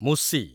ମୁସି